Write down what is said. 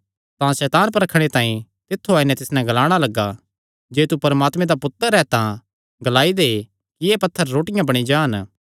तां सैतान परखणे तांई तित्थु आई नैं तिस नैं ग्लाणा लग्गा जे तू परमात्मे दा पुत्तर ऐ तां ग्लाई दे कि एह़ पत्थर रोटियां बणी जान